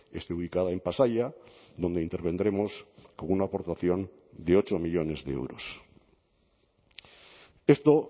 esté ubicada en pasaia donde intervendremos con una aportación de ocho millónes de euros esto